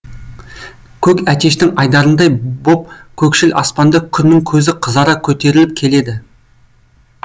көк әтештің айдарындай боп көкшіл аспанда күннің көзі қызара көтеріліп келеді